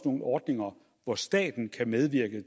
nogle ordninger hvor staten kan medvirke